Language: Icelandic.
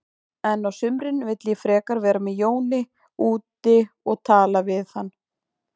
En á sumrin vil ég frekar vera með Jóni úti og tala við hann.